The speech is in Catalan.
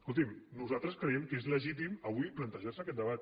escoltin nosaltres creiem que és legítim avui plantejar se aquest debat